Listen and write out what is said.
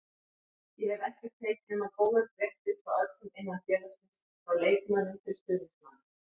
Ég hef ekkert heyrt nema góðar fréttir frá öllum innan félagsins, frá leikmönnum til stuðningsmanna.